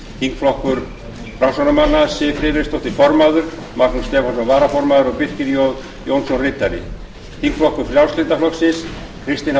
þingflokkur framsóknarmanna formaður siv friðleifsdóttir varaformaður magnús stefánsson ritari birkir j jónsson þingflokkur frjálslynda flokksins formaður kristinn h